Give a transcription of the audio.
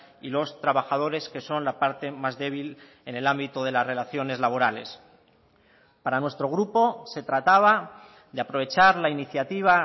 y los trabajadores que son la parte más débil en el ámbito de las relaciones laborales para nuestro grupo se trataba de aprovechar la iniciativa